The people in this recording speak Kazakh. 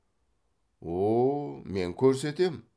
о о мен көрсетем